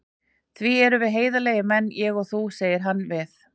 Því við erum heiðarlegir menn, ég og þú, segir hann við